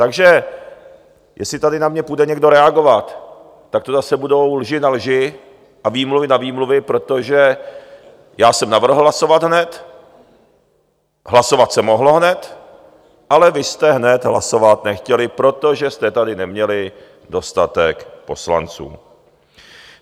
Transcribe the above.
Takže jestli tady na mě bude někdo reagovat, tak to zase budou lži na lži a výmluvy na výmluvy, protože já jsem navrhl hlasovat hned, hlasovat se mohlo hned, ale vy jste hned hlasovat nechtěli, protože jste tady neměli dostatek poslanců.